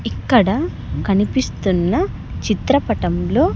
ఇక్కడ కనిపిస్తున్న చిత్రపటంలో.